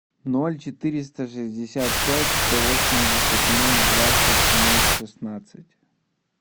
ноль четыреста шестьдесят пять сто восемьдесят ноль двадцать ноль шестнадцать